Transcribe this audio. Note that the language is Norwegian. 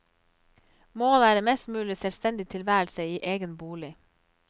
Målet er en mest mulig selvstendig tilværelse i egen bolig.